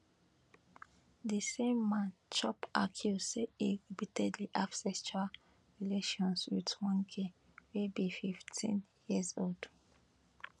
di same man chop accuse say e repeatedly have sexual relations wit one girl wey be 15 years old